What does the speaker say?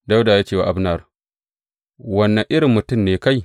Dawuda ya ce wa Abner, Wane irin mutum ne kai?